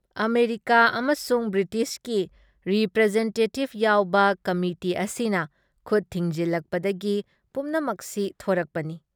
America ꯑꯃꯁꯨꯡ ꯕ꯭ꯔꯤꯇꯤꯁꯀꯤ ꯔꯤꯄ꯭ꯔꯦꯁꯟꯇꯦꯇꯤꯕ ꯌꯥꯎꯕ ꯀꯃꯤꯇꯤ ꯑꯁꯤꯅ ꯈꯨꯠ ꯊꯤꯡꯖꯤꯜꯂꯛꯄꯗꯒꯤ ꯄꯨꯝꯅꯃꯛꯁꯤ ꯊꯣꯔꯛꯄꯅꯤ ꯫